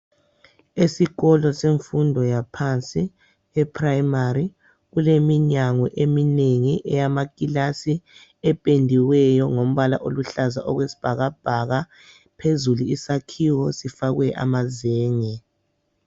Esikolo semfundo yaphansi, eprayimari, kuleminyango eminengi eyamakilasi ependiweyo ngombala oluhlaza okwesbhakabhaka. Phezulu isakhiwo sifakwe amazenge.